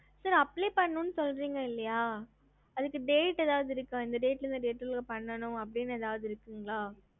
ஹம்